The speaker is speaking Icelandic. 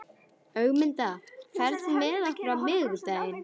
Ögmunda, ferð þú með okkur á miðvikudaginn?